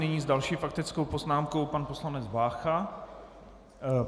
Nyní s další faktickou poznámkou pan poslanec Vácha.